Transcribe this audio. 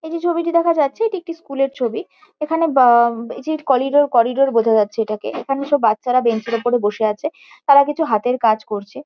এই যে ছবিটি দেখা যাচ্ছে এটি একটি স্কুল -এর ছবি। এখানে বা অম এই যে কলিডোর করিডোর বোঝা যাচ্ছে এটাকে। এখানে সব বাচ্চারা বেঞ্চ -এর ওপরে বসে আছে। তারা কিছু হাতের কাজ করছে।